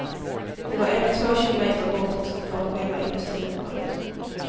Det var ändå två kilometer bort från själva industriområdet.